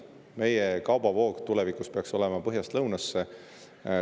Meie kaubavoog peaks tulevikus põhjast lõunasse.